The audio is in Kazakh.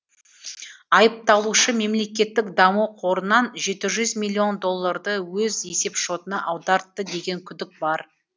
айыпталушы мемлекеттік даму қорынан жеті жүз миллион долларды өз есепшотына аудартты деген күдік бар